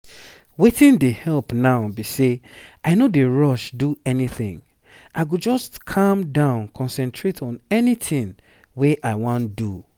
wetin dey help now be say i no dey rush do anything i go just calm down concentrate on anytin wey i wan do